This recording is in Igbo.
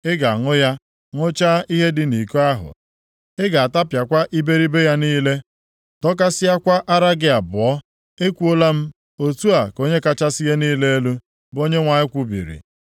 Ị ga-aṅụ ya, ṅụchaa ihe dị nʼiko ahụ. Ị ga-atapịakwa iberibe + 23:34 Maọbụ, ejuju ya niile, dọkasịakwa ara gị abụọ. Ekwuola m. Otu a ka Onye kachasị ihe niile elu, bụ Onyenwe anyị kwubiri.